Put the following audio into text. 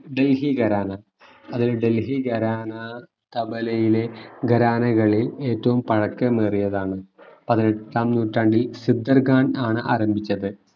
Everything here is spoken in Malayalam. ഡൽഹി ഖരാന അത് ഡൽഹി ഖരാന തബലയിലെ ഖരാനകളിൽ ഏറ്റവും പഴക്കമേറിയതാണ് പതിനെട്ടാം നൂറ്റാണ്ടിൽ സിദ്ധർ ഖാൻ ആണ് ആരംഭിച്ചത്